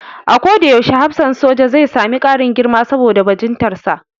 A ko da yaushe hafsan soja zai sami ƙarin girma saboda bajintarsa